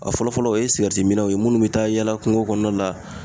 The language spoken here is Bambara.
A fɔlɔ fɔlɔ ,o ye mi naw ye .Minnu be taa yaala kungo kɔnɔnaw la